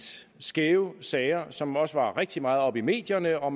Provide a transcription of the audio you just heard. skæve sager som også var rigtig meget oppe i medierne og